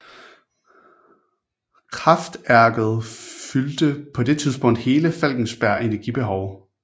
Kraftærket fyldte på det tidspunkt hele Falkenbergs energibehov